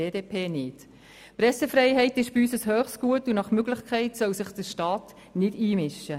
Die Pressefreiheit ist bei uns ein hohes Gut, und nach Möglichkeit soll sich der Staat nicht einmischen.